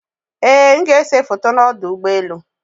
Ee m ga-ese foto na ọdụ ụgbọelụ